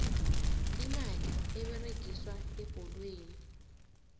imali eberegiswa ebholweni